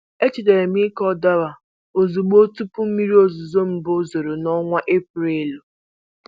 Echetara m ịkụ dawa ozugbo tupu mmiri ozuzo mbụ zoro n'ọnwa Eprelu.